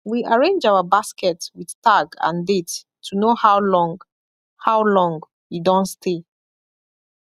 we arrange our basket with tag and date to know how long how long e don stay